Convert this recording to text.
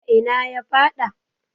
a ina ya faɗa?